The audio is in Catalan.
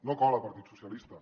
no cola partit socialistes